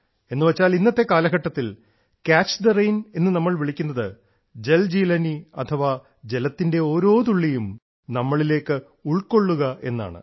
എന്നുവെച്ചാൽ ഇന്നത്തെ കാലഘട്ടത്തിൽ ക്യാച്ച് ദ റെയിൻ എന്ന് നമ്മൾ വിളിക്കുന്നത് ജൽജീലാനി അഥവാ ജലത്തിന്റെ ഓരോ തുള്ളിയും നമ്മളിലേക്ക് ഉൾക്കൊള്ളുക എന്നാണ്